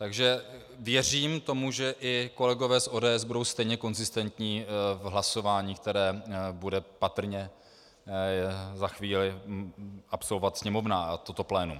Takže věřím tomu, že i kolegové z ODS budou stejně konzistentní v hlasování, které bude patrně za chvíli absolvovat Sněmovna a toto plénum.